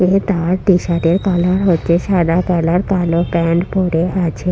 এ তার T shirt এর colour হচ্ছে সাদা কালার কালো প্যান্ট পরে আছে।